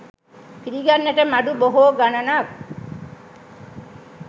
පිළිගන්නට මඩු බොහෝ ගණනක්